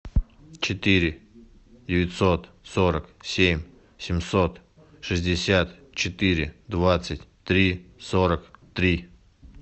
четыре девятьсот сорок семь семьсот шестьдесят четыре двадцать три сорок три